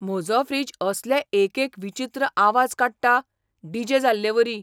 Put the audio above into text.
म्हजो फ्रीजअसले एक एक विचित्र आवाज काडटा, डी. जे. जाल्लेवरी!